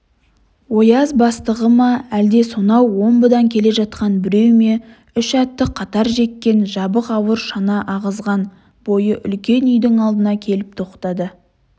ояз бастығы ма әлде сонау омбыдан келе жатқан біреу ме үш атты қатар жеккен жабық ауыр шана ағызған бойы үлкен үйдің алдына келіп тоқтады